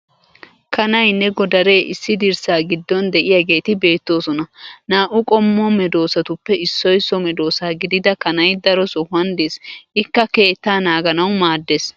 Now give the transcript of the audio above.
Kanayinne godaree issi dirssaa giddon de'iyaageeti beettoosona. Naa'u qommo medoosatuppe issoy so medoossa gidida kanay daro sohuwan des ikka keettaa naaganawu maaddes.